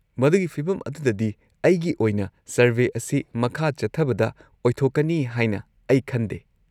-ꯃꯗꯨꯒꯤ ꯐꯤꯕꯝ ꯑꯗꯨꯗꯗꯤ, ꯑꯩꯒꯤ ꯑꯣꯏꯅ ꯁꯔꯚꯦ ꯑꯁꯤ ꯃꯈꯥ ꯆꯠꯊꯕꯗ ꯑꯣꯏꯊꯣꯛꯀꯅꯤ ꯍꯥꯏꯅ ꯑꯩ ꯈꯟꯗꯦ꯫